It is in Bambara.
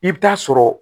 I bɛ taa sɔrɔ